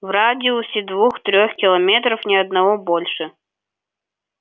в радиусе двух-трех километров ни одного больше